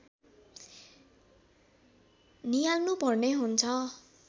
नियाल्नुपर्ने हुन्छ